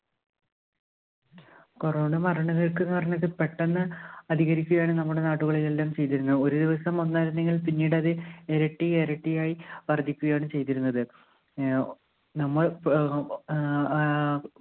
corona മരണനിരക്ക് ന്ന് പറഞ്ഞത് പെട്ടന്ന് അധികരിക്കയാണ് നമ്മുടെ നാടുകളിലെല്ലാം ചെയ്തിരുന്നത്. ഒരു ദിവസം ഒന്ന് ആയിരുന്നെങ്കിൽ പിന്നീടത് ഇരട്ടിയെരട്ടി ആയി വർധിക്കുയാണ് ചെയ്തിരുന്നത്. ഏർ ഒ നമ്മൾ പ് ഓ ഏർ ആഹ്